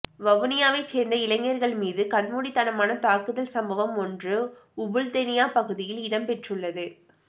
வவுனியாவை சேர்ந்த இளைஞர்கள் மீது கண்மூடித்தனமாக தாக்குதல் சம்பவம் ஒன்று உபுல்தெனிய பகுதியில் இடம்பெற்றுள்ளது